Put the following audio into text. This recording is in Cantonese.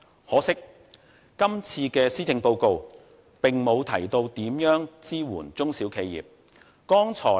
可惜，今次的施政報告並沒有提到如何支援中小企業。